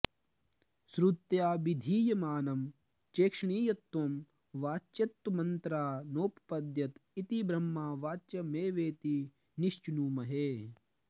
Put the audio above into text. श्रुत्याभिधीयमानं चेक्षणीयत्वं वाच्यत्वमन्तरा नोपपद्यत इति ब्रह्म वाच्यमेवेति निश्चिनुमहे